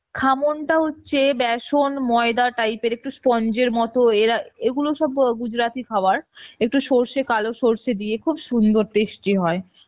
খামনটা হচ্ছে বেসন ময়দা type এর sponge এর মত এরা এগুলো সব gujrati খাবার, একটু সর্ষে কালো সর্ষে দিয়ে খুব সুন্দর tasty হয়